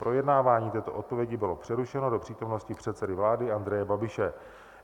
Projednávání této odpovědi bylo přerušeno do přítomnosti předsedy vlády Andreje Babiše.